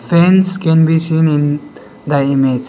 signs can be seen in the image.